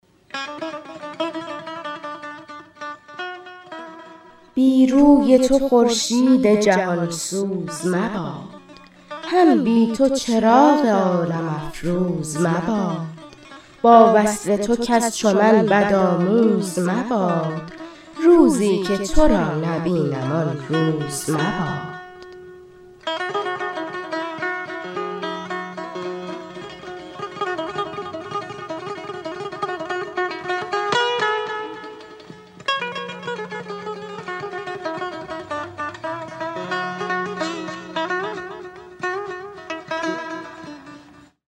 بی روی تو خورشید جهان سوز مباد هم بی تو چراغ عالم افروز مباد با وصل تو کس چو من بد آموز مباد روزی که تو را نبینم آن روز مباد